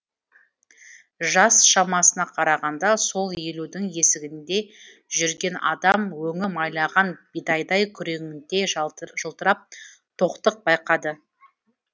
жас шамасына қарағанда сол елудің есігінде жүрген адам өңі майлаған бидайдай күреңіте жылтырап тоқтық байқатады